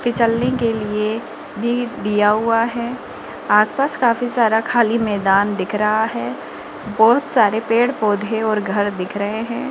की चलने के लिए भी दिया हुआ है आस पास काफी सारा खाली मैदान दिख रहा है बहोत सारे पेड़ पौधे और घर दिख रहे हैं।